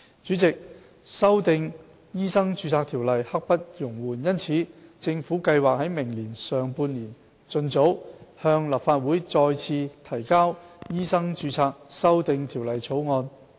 主席，修訂《醫生註冊條例》刻不容緩，因此，政府計劃於明年上半年盡早向立法會再次提交《醫生註冊條例草案》。